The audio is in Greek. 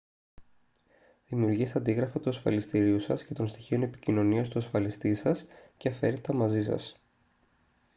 δημιουργήστε αντίγραφα του ασφαλιστηρίου σας και των στοιχείων επικοινωνίας του ασφαλιστή σας και φέρτε τα μαζί σας